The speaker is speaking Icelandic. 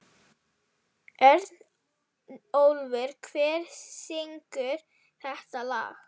Örnólfur, hver syngur þetta lag?